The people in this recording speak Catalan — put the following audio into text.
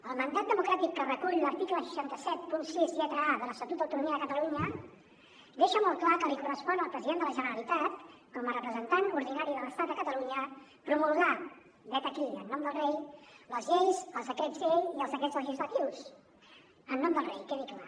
el mandat democràtic que recull l’article sis cents i setanta sis lletra a de l’estatut d’autonomia de catalunya deixa molt clar que li correspon al president de la generalitat com a representant ordinari de l’estat a catalunya promulgar vet aquí en nom del rei les lleis els decrets llei i els decrets legislatius en nom del rei quedi clar